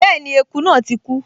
Bẹ́ẹ̀ni, eku náà ti kú